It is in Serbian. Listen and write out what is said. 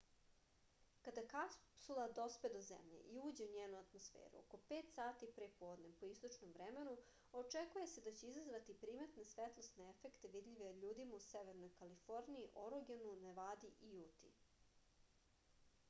када капсула доспе до земље и уђе у њену атмосферу око 5 сати пре подне по источном времену очекује се да ће изазвати приметне светлосне ефекте видљиве људима у северној калифорнији орегону невади и јути